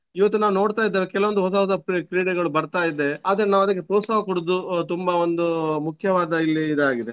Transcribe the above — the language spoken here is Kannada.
ಇವತ್ತು ನಾನು ನೋಡ್ತಾ ಇದ್ದೇವೆ ಕೆಲವೊಂದು ಹೊಸ ಹೊಸ ಕ್ರೀ~ ಕ್ರೀಡೆಗಳು ಬರ್ತಾ ಇದೆ ಆದ್ರೆ ನಾವು ಅದಕ್ಕೆ ಪ್ರೋತ್ಸಾಹ ಕೊಡುದು ಆಹ್ ತುಂಬಾ ಒಂದು ಮುಖ್ಯವಾದ ಇಲ್ಲಿ ಇದಾಗಿದೆ.